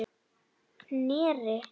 Knerri